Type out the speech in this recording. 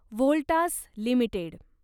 Voltas limited